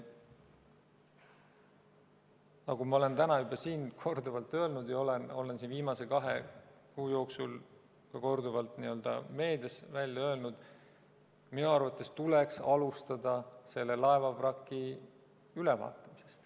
Nagu ma olen täna siin korduvalt öelnud ja viimase kahe kuu jooksul korduvalt ka meedias välja öelnud: minu arvates tuleks alustada selle laevavraki ülevaatamisest.